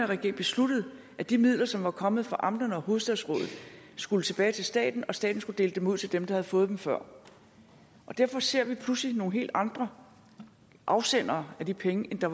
regering besluttede at de midler som var kommet fra amterne og hovedstadsrådet skulle tilbage til staten og staten skulle dele ud til dem der havde fået dem før derfor ser vi pludselig nogle helt andre afsendere af de penge end det